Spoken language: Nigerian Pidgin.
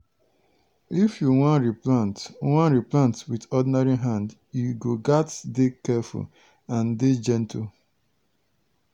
if you wan replant wan replant with ordinary hand you go gats dey careful and dey gentle.